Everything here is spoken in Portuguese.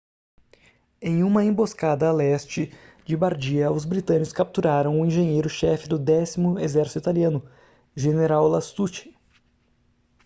em uma emboscada a leste de bardia os britânicos capturaram o engenheiro chefe do décimo exército italiano general lastucci